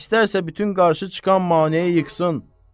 İstərsə bütün qarşı çıxanı mane yeğsin.